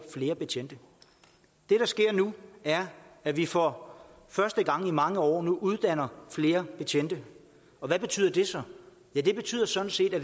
flere betjente det der sker nu er at vi for første gang i mange år uddanner flere betjente hvad betyder det så ja det betyder sådan set at